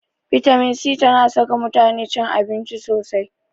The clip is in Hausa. Bitamin c tana saka mutane cin abinci sosai.